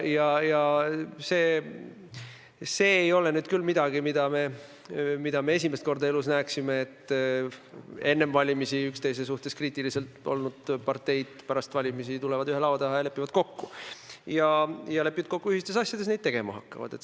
Aga see ei ole küll midagi, mida me esimest korda elus näeme, et enne valimisi üksteise suhtes kriitilised olnud parteid pärast valimisi tulevad ühe laua taha ja lepivad kokku ühistes asjades, mida nad tegema hakkavad.